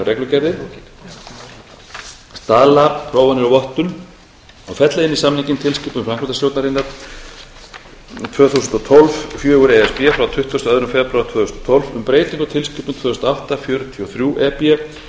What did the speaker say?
um tæknilegar reglugerðir staðlaprófanir og vottun og fella inn í samninginn tilskipun framkvæmdastjórnarinnar tvö þúsund og tólf fjögur e s b frá tuttugasta og öðrum febrúar tvö þúsund og tólf um breytingu á tilskipun tvö þúsund og átta fjörutíu og þrjú e b